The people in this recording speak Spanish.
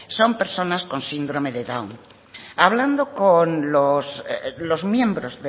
son personas con síndrome de down hablando con los miembros